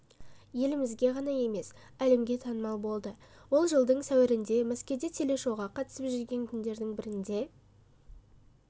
елімізге ғана емес әлемге танымал болды ол жылдың сәуірінде мәскеуде телешоуға қатысып жүрген күндердің бірінде